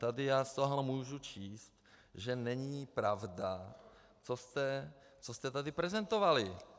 Tady já z toho můžu číst, že není pravda, co jste tady prezentovali.